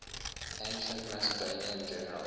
ancient macedonian generals